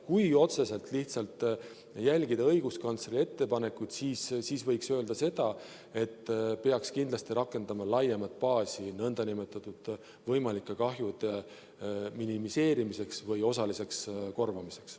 Kui otseselt lihtsalt järgida õiguskantsleri ettepanekut, siis võiks öelda, et peaks kindlasti rakendama laiemat baasi nn võimalike kahjude minimeerimiseks või osaliseks korvamiseks.